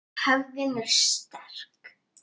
Hefðin er sterk.